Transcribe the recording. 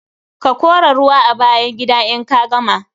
Ka kora ruwa a bayan gida in ka gama.